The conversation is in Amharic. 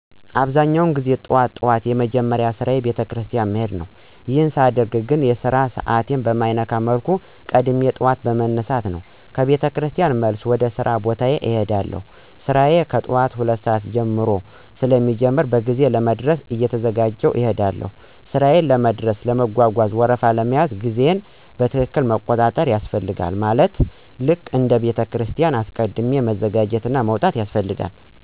አብዛኛውን ጊዜ ጠዋት ጠዋት የመጀመሪያ ስራየ ቤተክርስቲያን መሄድ ነው፣ ይሄን ሳደርግ ግን የስራ ሰዓቴን በማይነካ መልኩ ቀድሜ ጠዋት በመነሳት ነው፣ ከ ቤተክርስቲያን መልስም ወደ ሥራ ቦታዬ እሄዳለሁ። ስራዬ ከጠዋቱ 2:00 ሰዓት ጀምሮ ስለሚጀምር በጊዜ ለመድረስ እየተዘጋጀሁ እሄዳለሁ። ሥራዬ ለመድረስ ለመጓጓዣ ወረፋ ለመያዝ ጊዜየን በትክክል መቆጣጠር ያስፈልጋል ማለትም ልክ እንደ ቤተክርስቲያኑ አስቀድም መዘጋጀትና መውጣት ያስፈልጋል።